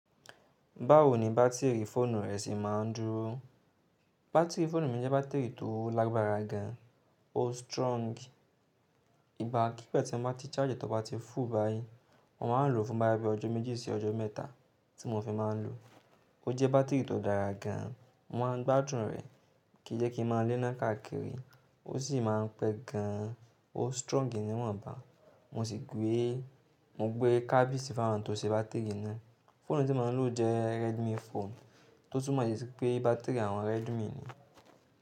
Báwo ni bátìrì fóònù rẹ ṣe máa ń dúró? Bátìrì fóònù mi jẹ́ bátìrì tó lágbára gan, ó strong. Ìgbà kí gba tí n bá ti charge ẹ tó bá ti full báyìí, mo máa ń lò fún bo ya bí ọjọ́ méjì sí ọjọ́ mẹ́ta tí mo fi máa ń lò. Ó jẹ́ bátìrì tó dára gan, mo máa ń gbádùn rẹ̀, kì í jẹ́ kí ń má lé náà káàkiri. Ó sì máa ń pẹ́ gan, ó strong nìwọ̀nba. Mo sì gbé, mo gbé kábísì fún wọn tó ṣe bátìrì náà. Phone ti mo n lo jẹ redmi phone, to tun mọ si pe batiri awọn redmi ni.